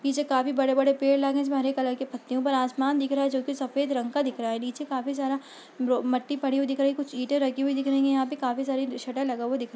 पीछे काफी बड़े- बड़े पेड़ लगे हैं इसमें हरे कलर के पत्ते हैं । ऊपर आसमान दिख रहा है जो कि सफ़ेद रंग का दिख रहा है नीचे काफी सारा ब्रो मट्टी पड़ी हुई दिख रही है कुछ ईटे रखी हुई दिख रही हैं यहां पे काफी सारा शटर लगा हुआ दिख--